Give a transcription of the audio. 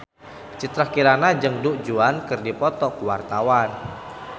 Citra Kirana jeung Du Juan keur dipoto ku wartawan